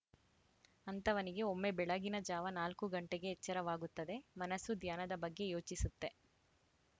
ಅಂಥವನಿಗೆ ಒಮ್ಮೆ ಬೆಳಗಿನ ಜಾವ ನಾಲ್ಕು ಗಂಟೆಗೆ ಎಚ್ಚರವಾಗುತ್ತದೆ ಮನಸ್ಸು ಧ್ಯಾನದ ಬಗ್ಗೆ ಯೋಚಿಸುತ್ತೆ